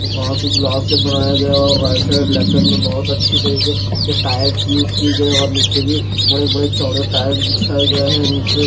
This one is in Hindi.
कांच ग्लास से बनाया गया और राइट साइड लेफ्ट में बहोत अच्छी तरीके के टायल्स युज कि गई और नीचे भी बड़े बड़े चौड़े टाइल्स बिछाए गए हैं नीचे--